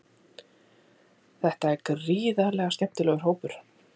Þetta er gríðarlega skemmtilegur hópur.